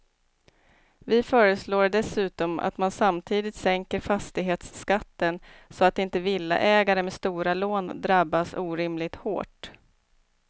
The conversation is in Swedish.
Vi föreslår dessutom att man samtidigt sänker fastighetsskatten så att inte villaägare med stora lån drabbas orimligt hårt.